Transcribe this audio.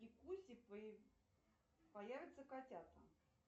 появятся котята